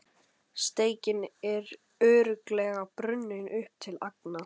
Steikin er örugglega brunnin upp til agna.